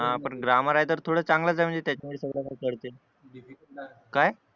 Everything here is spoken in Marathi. हा पण ग्रामर आहे तर थोडं चांगलंच आहे म्हणजे काय